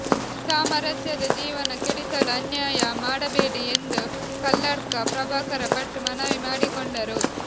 ಸಾಮರಸ್ಯದ ಜೀವನ ಕೆಡಿಸಲು ಅನ್ಯಾಯ ಮಾಡಬೇಡಿ ಎಂದು ಕಲ್ಲಡ್ಕ ಪ್ರಭಾಕರ ಭಟ್ ಮನವಿ ಮಾಡಿಕೊಂಡರು